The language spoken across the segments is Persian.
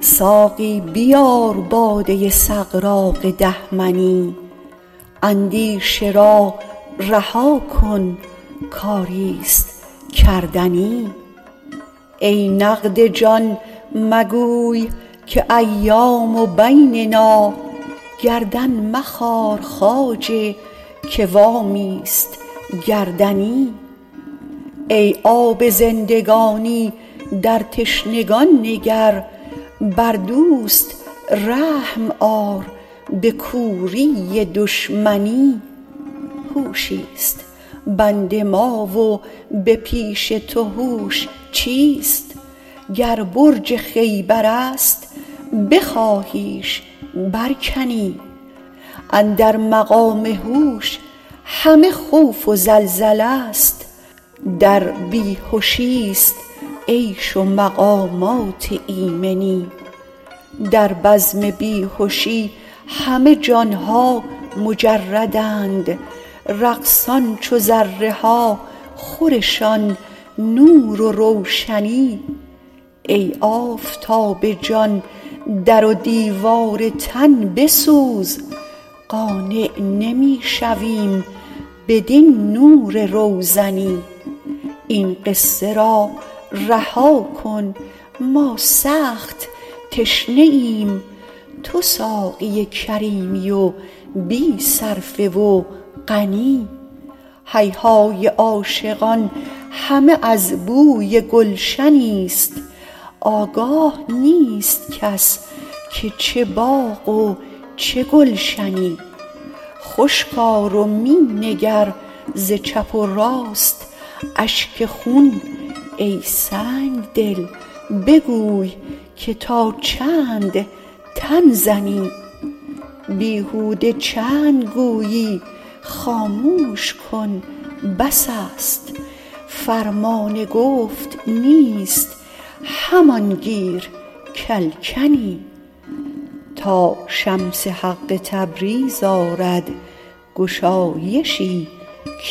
ساقی بیار باده سغراق ده منی اندیشه را رها کن کاری است کردنی ای نقد جان مگوی که ایام بیننا گردن مخار خواجه که وامی است گردنی ای آب زندگانی در تشنگان نگر بر دوست رحم آر به کوری دشمنی هوشی است بند ما و به پیش تو هوش چیست گر برج خیبر است بخواهیش برکنی اندر مقام هوش همه خوف و زلزله ست در بی هشی است عیش و مقامات ایمنی در بزم بی هشی همه جان ها مجردند رقصان چو ذره ها خورشان نور و روشنی ای آفتاب جان در و دیوار تن بسوز قانع نمی شویم بدین نور روزنی این قصه را رها کن ما سخت تشنه ایم تو ساقی کریمی و بی صرفه و غنی هیهای عاشقان همه از بوی گلشنی است آگاه نیست کس که چه باغ و چه گلشنی خشک آر و می نگر ز چپ و راست اشک خون ای سنگ دل بگوی که تا چند تن زنی بیهوده چند گویی خاموش کن بس است فرمان گفت نیست همان گیر که الکنی تا شمس حق تبریز آرد گشایشی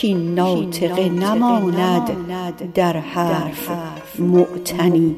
کاین ناطقه نماند در حرف معتنی